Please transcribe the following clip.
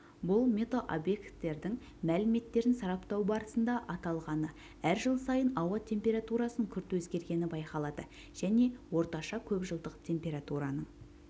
бұл метеобекеттердің мәліметтерін сараптау барысында анықталғаны әр жыл сайын ауа температурасының күрт өзгергені байқалады және орташа көпжылдық температураның